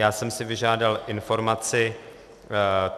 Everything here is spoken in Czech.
Já jsem si vyžádal informaci.